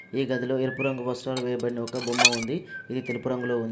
ఈ గదిలో ఎరుపు రంగు వస్త్రాలు వేయబడిన ఒక బొమ్మ ఉంది. ఇది తెలుపు రంగులో ఉంది.